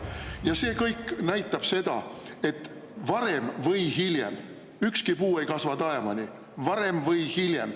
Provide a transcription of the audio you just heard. Ja see kõik näitab seda, et varem või hiljem – ükski puu ei kasva taevani –, varem või hiljem …